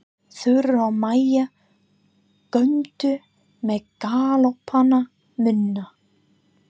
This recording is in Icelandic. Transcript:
Þura og Maja góndu með galopna munna.